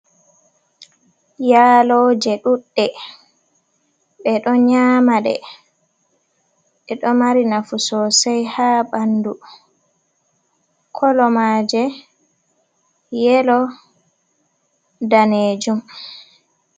Yaaloje ɗuɗɗe ɓe ɗo nyama ɗe, ɗe ɗo mari nafu sosai ha ɓandu kolo maaje yelo, daneejum.